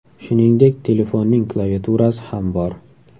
Shuningdek, telefonning klaviaturasi ham bor.